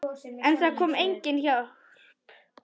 En það kom engin hjálp.